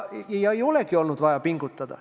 Ei olegi olnud vaja pingutada.